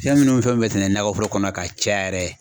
Fɛn munnu ni fɛn mun be sɛnɛ nakɔforo kɔnɔ ka caya yɛrɛ